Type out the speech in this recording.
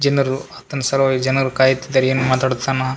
ಜನರು ಆತನ ಸಲುವಾಗಿ ಜನರು ಕಾಯುತ್ತಿದ್ದರೆ ಏನು ಮಾತಾಡುದ್ ಸಮ.